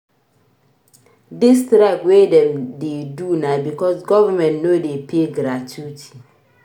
Dis strike wey dem dey do na because government no dey pay gratuity.